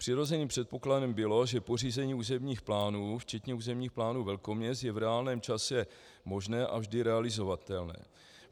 Přirozeným předpokladem bylo, že pořízení územních plánů včetně územních plánů velkoměst je v reálném čase možné a vždy realizovatelné.